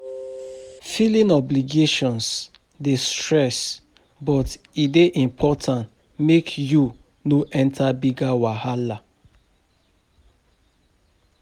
Filing obligations dey stress, but e dey important mek yu no enter bigger wahala